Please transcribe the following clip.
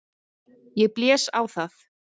Ég blés á það.